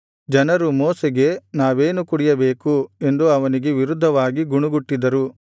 ಜನರು ಮೋಶೆಗೆ ನಾವೇನು ಕುಡಿಯಬೇಕು ಎಂದು ಅವನಿಗೆ ವಿರುದ್ಧವಾಗಿ ಗುಣಗುಟ್ಟಿದರು